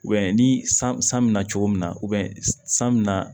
ni san bɛ na cogo min na san bɛ na